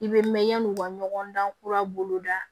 I bɛ mɛn yanni u ka ɲɔgɔn dan kura boloda